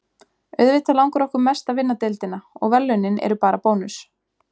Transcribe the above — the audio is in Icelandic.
Auðvitað langar okkur mest að vinna deildina, og verðlaunin eru bara bónus